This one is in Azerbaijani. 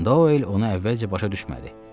Doyl ona əvvəlcə başa düşmədi.